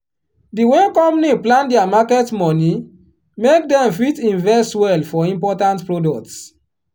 the way company plan their market money make dem fit invest well for important products.